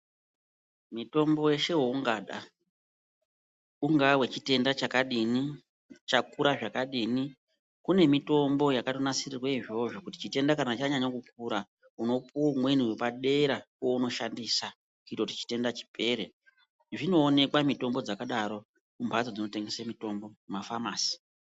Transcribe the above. Mitombo yeshe yaungada, ungaa yechitenda chakadini chakura zvakadini kune mitombo yakatonasirirwe izvozvo kuti chitenda kana chanyanya kukura unopuwa umweni wepadera waunoshandisa kuitira chitenda chipere. Zvinoonekwa mitombo dzakadaro kumhatso dzinotengesa mitombo kuma famasi.